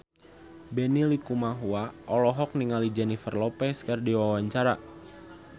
Benny Likumahua olohok ningali Jennifer Lopez keur diwawancara